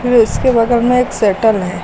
फिर उसके बगल में एक शेटल है।